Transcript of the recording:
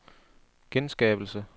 genskabelse